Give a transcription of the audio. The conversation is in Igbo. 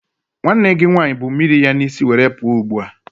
Nwanne gị nwanyị bu mmiri ya n'isi were pụọ ugbua.